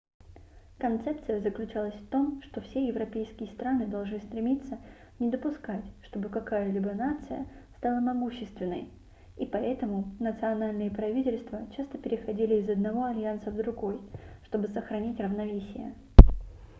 концепция заключалась в том что все европейские страны должны стремиться не допускать чтобы какая-либо нация стала могущественной и поэтому национальные правительства часто переходили из одного альянса в другой чтобы сохранить равновесие